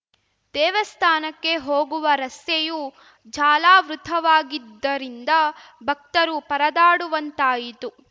ದೇವಸ್ಥಾನಕ್ಕೆ ಹೋಗುವ ರಸ್ತೆಯೂ ಜಾಲಾವೃತವಾಗಿದ್ದರಿಂದ ಭಕ್ತರು ಪರದಾಡುವಂತಾಯಿತು